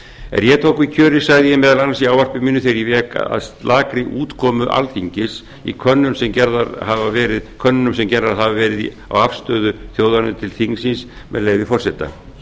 er ég tók við kjöri sagði ég meðal annars í ávarpi mínu þegar ég vék að slakri útkomu alþingis í könnunum sem gerðar hafa verið á afstöðu þjóðarinnar til þingsins með leyfi forseta